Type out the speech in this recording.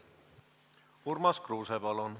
Urmas Kruuse, palun!